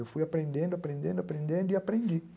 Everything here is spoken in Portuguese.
Eu fui aprendendo, aprendendo, aprendendo e aprendi.